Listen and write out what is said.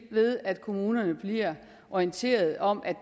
ved at kommunerne bliver orienteret om at